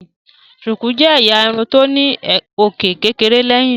Shuku jé ẹyà Irun tó ní òkè kékeré léyìn.